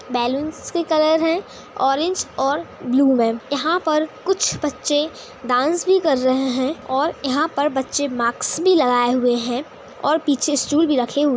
balloons के colour है orange और ब्लू मे यहाँं पर कुछ बच्चे डांस भी कर रहे है और यहाँं पर बच्चे माक्स भी लगाए हुए है और पीछे स्टूल भी रखे हुए --